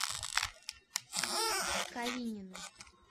калинину